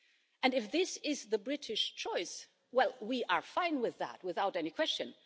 And if this is the British choice, well, we are fine with that, without any question.